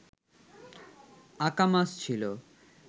Akamas ছিল